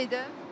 Sıxlıq var idi?